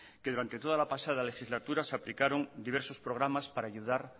que durante la pasada legislatura se aplicaron diversos programas para ayudar